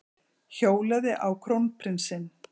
Hjólaði á krónprinsinn